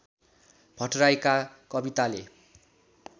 भट्टराईका कविताले